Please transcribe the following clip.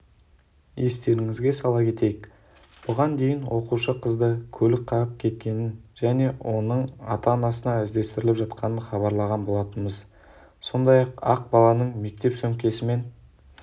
естеріңізге сала кетейік бұған дейін оқушы қызды көлік қағып кеткенін және оның ата-анасы іздестіріліп жатқанын хабарлаған болатынбыз сондай-ақ баланың мектеп сөмкесімен